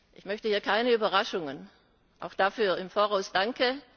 Ich möchte hier keine Überraschungen. Auch dafür im Voraus Danke!